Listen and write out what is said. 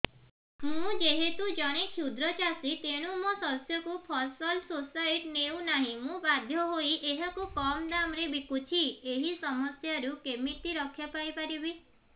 ମୁଁ ଯେହେତୁ ଜଣେ କ୍ଷୁଦ୍ର ଚାଷୀ ତେଣୁ ମୋ ଶସ୍ୟକୁ ଫସଲ ସୋସାଇଟି ନେଉ ନାହିଁ ମୁ ବାଧ୍ୟ ହୋଇ ଏହାକୁ କମ୍ ଦାମ୍ ରେ ବିକୁଛି ଏହି ସମସ୍ୟାରୁ କେମିତି ରକ୍ଷାପାଇ ପାରିବି